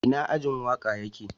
Ina ajin waka ya ke?